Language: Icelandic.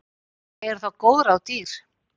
Eru þá góð ráð dýr.